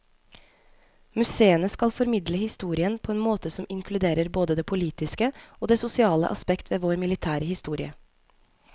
Museene skal formidle historien på en måte som inkluderer både det politiske og det sosiale aspekt ved vår militære historie.